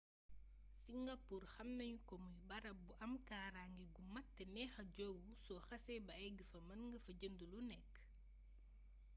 singapour xam nañu ko muy barab bu am kaaraange gu mat te neexa joowu so xasee bay egg fa mën nga fa jënd lu nekk